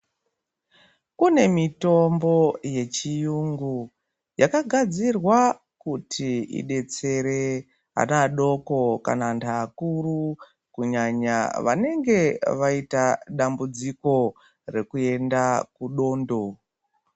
Kune mitombo yechiyungu yakagadzirwa kuti idetsere ana adoko kana antu akuru, kunyanya vanenge vayita dambudziko rekuyenda kudondo.